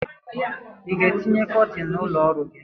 I ga-etinye kọtin n'ụlọ ọrụ gị?